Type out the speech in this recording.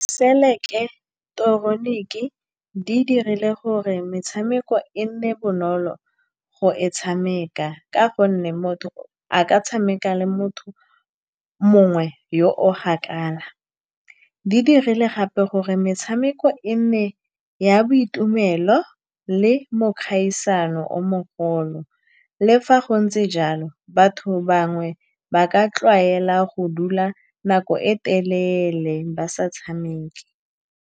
Seileteroniki di dirile gore metshameko e nne bonolo go e tshameka, ka gonne motho a ka tshameka le motho mongwe yo o kgakala. Di dirile gape gore metshameko e nne ya boitumelo le mo kgaisano o mogolo. Le fa go ntse jalo, batho bangwe ba ka tlwaela go dula nako e telele ba sa tshameko.